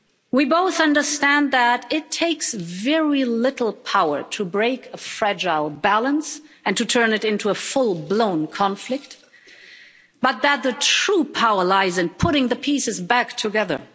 We both understand that it takes very little power to break a fragile balance and turn it into a full blown conflict but that the true power lies in putting the pieces back together.